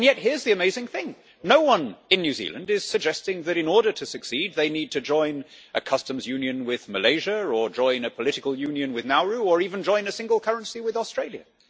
Yet, here is the amazing thing no one in New Zealand is suggesting that in order to succeed they need to join a customs union with Malaysia or join a political union with Nauru, or even join a single currency with Australia.